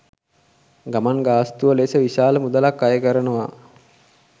ගමන් ගාස්තුව ලෙස විශාල මුදලක් අයකරනවා.